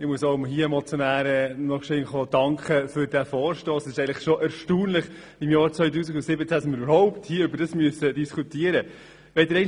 Es ist eigentlich schon erstaunlich, dass wir im Jahr 2017 darüber überhaupt diskutieren müssen.